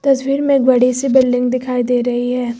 तस्वीर में एक बड़ी सी बिल्डिंग दिखाई दे रही है।